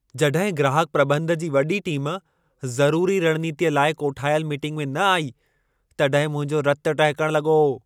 जॾहिं ग्राहक प्रॿंध जी वॾी टीमु, ज़रूरी रणनीतीअ लाइ कोठायल मीटिंग में न आई, तॾहिं मुंहिंजो रतु टहिकण लॻो।